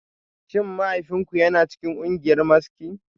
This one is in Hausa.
Shin mahaifinku yana cikin kungiyar maski?